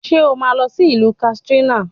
Ṣé o máa lọ sí ìlú Kàtsínà